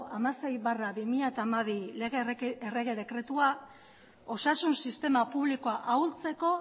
hamasei barra bi mila hamabi lege errege dekretua osasun sistema publikoa ahultzeko